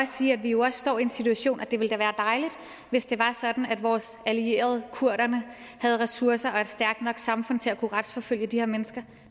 sige at vi jo står i en situation hvor det da ville være dejligt hvis det var sådan at vores allierede kurderne havde ressourcer og et stærkt nok samfund til at kunne retsforfølge de her mennesker